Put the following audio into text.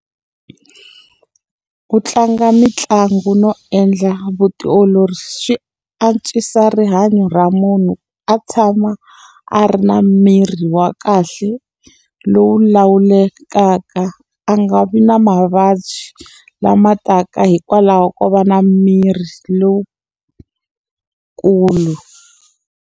Ku tlanga mitlangu no endla vutiolori swi antswisa rihanyo ra munhu a tshama a ri na miri wa kahle, lowu lawulekaka. A nga vi na mavabyi lama taka hikwalaho ko va na miri lowukulu.